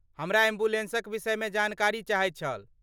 हमरा एम्बुलेन्सक विषयमे जानकारी चाहैत छल।